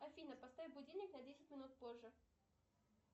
афина поставь будильник на десять минут позже